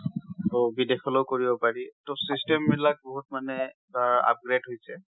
টো বিদেশখলৈ অ কৰিব পাৰি। টো system বিলাক বহুত মানে, ধৰা upgrade হৈছে।